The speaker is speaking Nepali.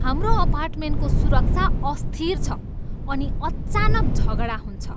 हाम्रो अपार्टमेन्टको सुरक्षा अस्थिर छ अनि अचानक झगडा हुन्छ।